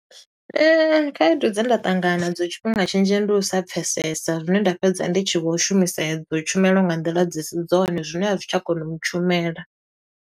Khaedu dze nda ṱangana nadzo tshifhinga tshinzhi ndi u sa pfesesa. Zwine nda fhedza ndi tshi vho shumisa edzo tshumelo nga nḓila dzi si dzone zwine a zwi tsha kona u ntshumela.